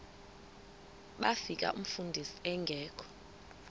bafika umfundisi engekho